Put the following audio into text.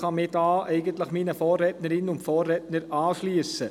Ich kann mich eigentlich meinen Vorrednerinnen und Vorrednern anschliessen.